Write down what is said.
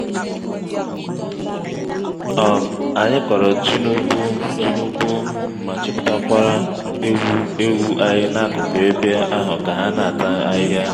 um anyị kọrọ ji n'ugbo ji n'ugbo ma chịpụtakwa eghu/ewu anyị n'akụkụ ebe ahụka ha n'ata ahịhịa.